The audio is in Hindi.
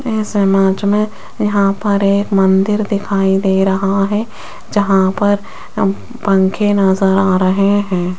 इस इमेज मे यहां पर एक मंदिर दिखाई दे रहा है जहां पर पंखे नजर आ रहे हैं।